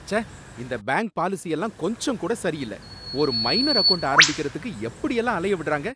ச்ச! இந்த பேங்க் பாலிசியெல்லாம் கொஞ்சம் கூட சரியில்ல. ஒரு மைனர் அக்கவுண்ட் ஆரம்பிக்கிறதுக்கு எப்படியெல்லாம் அலைய விடுறாங்க.